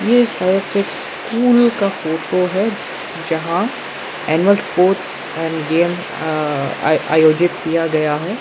ए शायद से एक स्कूल का फोटो है जहां एनुअल स्पोर्ट्स एंड गेम अअ आयोजित किया गया है।